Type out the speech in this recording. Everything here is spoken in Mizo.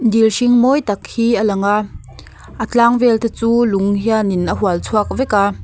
dil hring mawi tak hi a lang a a tlang vel te chu lung hian in a hual chhuak vek a.